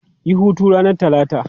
Yi hutu ranar Talata!